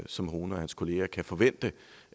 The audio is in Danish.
som rune og hans kollegaer kan forvente